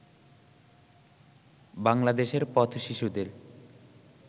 বাংলাদেশের পথ-শিশুদের